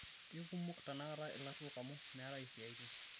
keikumok tenakata ilarruok amu meetae isiaitin